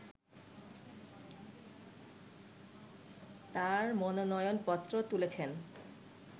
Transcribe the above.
তার মনোনয়নপত্র তুলেছেন